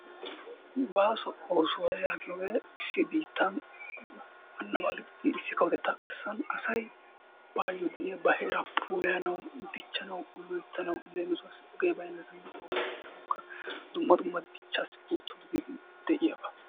Baaso oosuwaa yaagiyoogee issi biittaa waannaba gididi issi kawotettaa garssan asay baayyo de'iyaa ba heeraa puulayanawu, dichchanawu, loyttanawu leemisuwaassi ogee bayinnasan ogiyaa kessanawukka dumma dumma dichchaassi pultto gididi de'iyaaba.